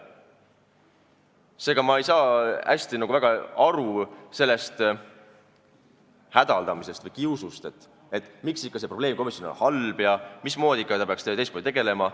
Seega, ma ei saa väga hästi aru sellest hädaldamisest või kiusust, et miks see probleemkomisjon on halb ja mida ta peaks ikka hoopis teistmoodi tegelema.